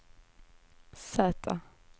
Z